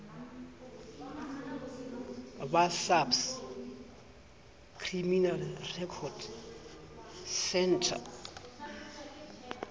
ba saps criminal record centre